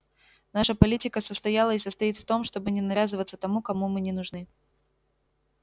наша политика состояла и состоит в том чтобы не навязываться тому кому мы не нужны